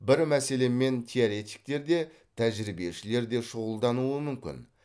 бір мәселемен теоретиктер де тәжірибешілер де шұғылдануы мүмкін